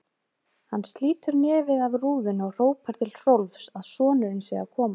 Hann slítur nefið af rúðunni og hrópar til Hrólfs að sonurinn sé að koma.